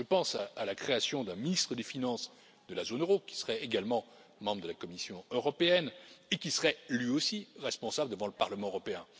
Je pense à la création d'un ministre des finances de la zone euro qui serait également membre de la Commission européenne et qui serait lui aussi responsable devant le Parlement européen.